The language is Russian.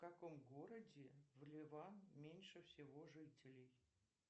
в каком городе в ливан меньше всего жителей